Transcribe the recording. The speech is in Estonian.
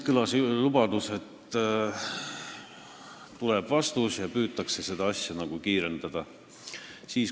Kõlas lubadus, et vastus tuleb ja seda asja püütakse kiirendada.